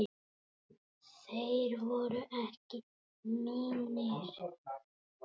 Þeir voru ekki mínir.